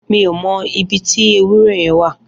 Mi ó mọ ibi ti éwùrẹ̀ yẹ̀n wà